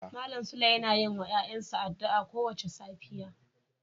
Malam sule yana yin wa ‘ya’yansa addu’a kowace safiya.